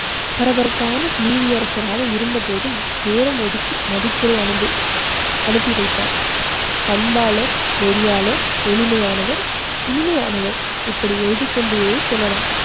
பரபரப்பான நீதியரசராக இருந்த போதும் நேரம் ஒதுக்கி மதிப்புரை அன்பு அனுப்பி வைத்தார். பண்பாளர் நெறியாளர் எளிமையானவர் இனிமையானவர் இப்படி எழுதிக்கொண்டே செல்லலாம்.